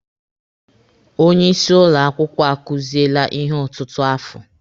Onye isi ụlọ akwụkwọ akuziele ihe ọtụtụ afọ.